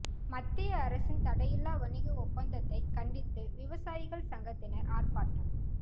மத்திய அரசின் தடையில்லா வணிக ஒப்பந்தததைக் கண்டித்து விவசாயிகள் சங்கத்தினா் ஆா்ப்பாட்டம்